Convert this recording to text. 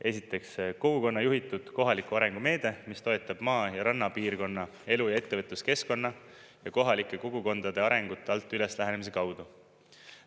Esiteks, kogukonna juhitud kohaliku arengu meede, mis toetab maa- ja rannapiirkonna elu- ja ettevõtluskeskkonna ja kohalike kogukondade arengut alt-üles-lähenemise kaudu.